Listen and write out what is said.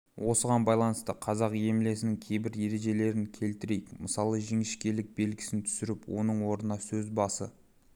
осыған байланысты қазақ емлесінің кейбір ережелерін келтірейік мысалы жіңішкелік белгісін түсіріп оның орнына сөз басы